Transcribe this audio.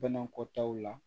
Banakɔtaw la